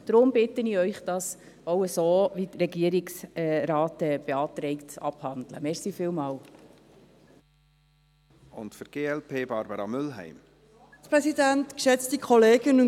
Deshalb bitte ich Sie, dies auch so abzuhandeln, wie es der Regierungsrat beantragt.